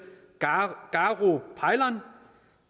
garo paylan